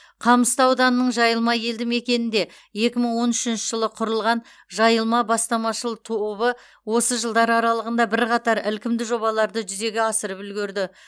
қамысты ауданының жайылма елді мекенінде екі мың он үшінші жылы құрылған жайылма бастамашыл тобы осы жылдар аралығында бірқатар ілкімді жобаларды жүзеге асырып үлгерді